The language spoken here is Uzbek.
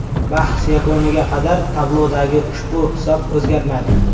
Bahs yakuniga qadar tablodagi ushbu hisob o‘zgarmadi.